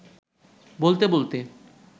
বলতে বলতে